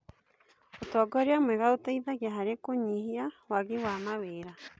Ũtongoria mwega ũteithagia harĩ kũnyihia wagi wa mawĩra.